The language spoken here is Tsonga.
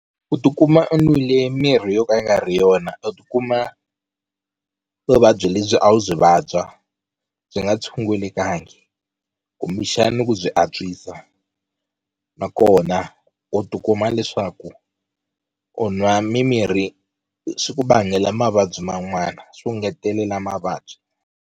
U tikuma u nwile mimirhi yo ka yi nga ri yona u tikuma vuvabyi lebyi a wu byi vabya byi nga tshungulekanga kumbexani ku byi antwisa nakona u tikuma leswaku u nwa mimirhi swi ku vangela mavabyi man'wana swo ngetelela mavabyi.